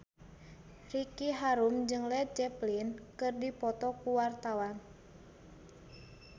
Ricky Harun jeung Led Zeppelin keur dipoto ku wartawan